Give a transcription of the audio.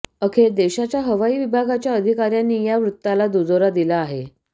अखेर देशाच्या हवाई विभागाच्या अधिकाऱ्यांनी या वृत्ताला दुजोरा दिला आहे